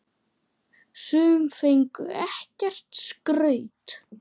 Sum fengu ekkert skraut.